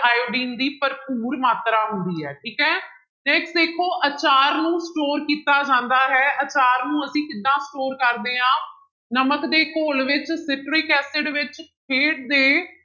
iodine ਦੀ ਭਰਪੂਰ ਮਾਤਰਾ ਹੁੰਦੀ ਹੈ ਠੀਕ ਹੈ next ਦੇਖੋ ਆਚਾਰ ਨੂੰ store ਕੀਤਾ ਜਾਂਦਾ ਹੈ ਆਚਾਰ ਨੂੰ ਅਸੀਂ ਕਿੱਦਾਂ store ਕਰਦੇ ਹਾਂ ਨਮਕ ਦੇ ਘੋਲ ਵਿੱਚ citric acid ਵਿੱਚ ਦੇ